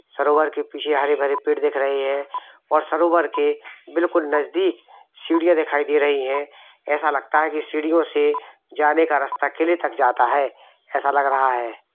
सरोवर के पीछे हरे-भरे पेड़ दिख रही है और सरोवर के बिलकुल नजदीक सीढ़ियाँ देखाई दे रही हैं ऐसा लगता हैं की सिडियो से जाने का रस्ता किले तक जाता हैं ऐसा लग रहा है।